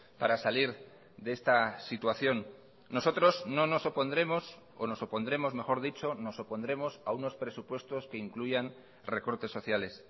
para salir de esta situación nosotros no nos opondremos o nos opondremos mejor dicho nos opondremos a unos presupuestos que incluyan recortes sociales